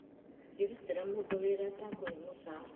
Ndingĩrutĩire mũndũ wĩra atakuhiĩ mũcara